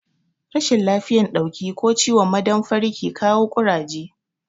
Rashin lafiyan dauki ko ciwon ma damfari ke kawo Ƙuraje